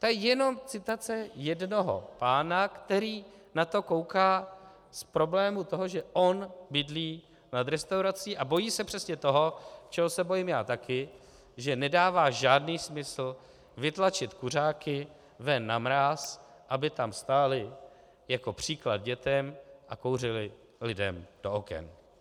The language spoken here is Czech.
To je jenom citace jednoho pána, který na to kouká z problému toho, že on bydlí nad restaurací a bojí se přesně toho, čeho se bojím já taky, že nedává žádný smysl vytlačit kuřáky ven na mráz, aby tam stáli jako příklad dětem a kouřili lidem do oken.